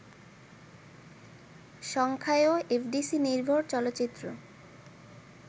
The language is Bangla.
সংখ্যায়ও এফডিসি-নির্ভর চলচ্চিত্র